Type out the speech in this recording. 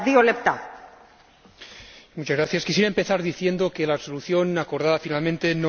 Quisiera empezar diciendo que la resolución acordada finalmente no es, en absoluto, la que yo hubiera redactado.